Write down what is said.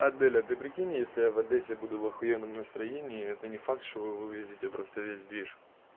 адель а ты прикинь если я в одессе буду в охуенном настроении это не факт что вы вывезете просто весь движ